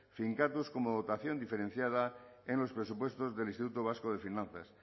finkatuz como dotación diferenciada en los presupuestos del instituto vasco de finanzas